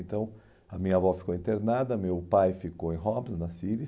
Então a minha avó ficou internada, meu pai ficou em Hobbs, na Síria.